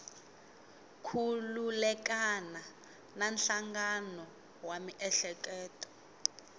khulukelana na nhlangano wa miehleketo